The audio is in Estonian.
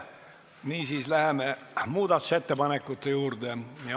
Niisiis läheme muudatusettepanekute juurde.